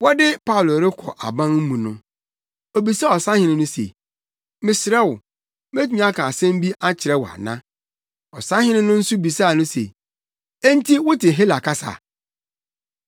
Wɔde Paulo rekɔ aban mu no, obisaa ɔsahene no se, “Mesrɛ wo, metumi aka asɛm bi akyerɛ wo ana?” Ɔsahene no nso bisaa no se, “Enti, wote Hela kasa?